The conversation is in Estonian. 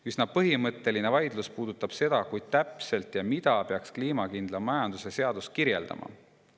Üsna põhimõtteline vaidlus puudutab seda, kui täpselt ja mida peaks kliimakindla majanduse seadus kirjeldama.